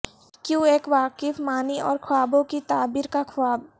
کیوں ایک واقف معنی اور خوابوں کی تعبیر کا خواب